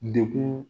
Dekun